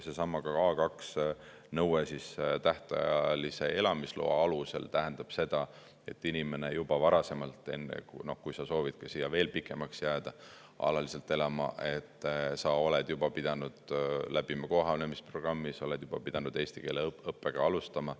Seesama A2 nõue tähtajalise elamisloa puhul tähendab seda, et inimene juba varasemalt, kui ta soovib siia pikemaks jääda, alaliselt siia elama jääda, on pidanud läbima kohanemisprogrammi, ta on juba pidanud eesti keele õppimist alustama.